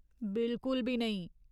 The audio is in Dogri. बिल्कुल बी नेईं !